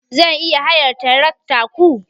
Zan iya hayar tarakta ku?